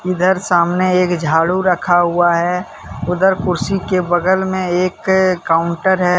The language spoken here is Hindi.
इधर सामने एक झाड़ू रखा हुआ है। उधर कुर्सी के बगल में एक काउंटर है।